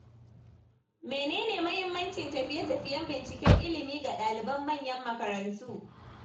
Mene ne muhimmancin tafiye-tafiyen binciken ilimi ga ɗaliban manyan makarantu?